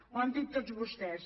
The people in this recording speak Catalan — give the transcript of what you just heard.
ho han dit tots vostès